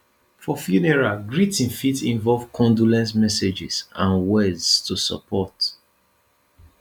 for funeral greeting fit involve condolence messages and words to support